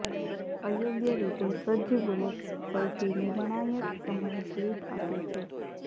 અયોગ્ય રીતે સજ્જ બુલેટ્સ સૌથી નિર્ણાયક સમયે સ્લિપ આપે છે